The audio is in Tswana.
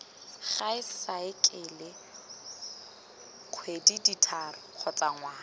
gae saekele kgwedithataro kgotsa ngwaga